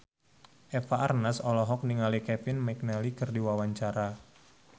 Eva Arnaz olohok ningali Kevin McNally keur diwawancara